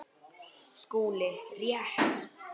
SKÚLI: Rétt!